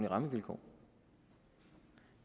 rammevilkår